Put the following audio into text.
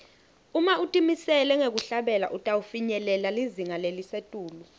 uma utimisele ngekuhlabela utawufinyelela lizinga lelisetulu